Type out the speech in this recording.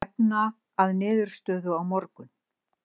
Stefna að niðurstöðu á morgun